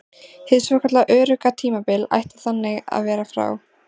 Hið svokallað örugga tímabil ætti þannig að vera frá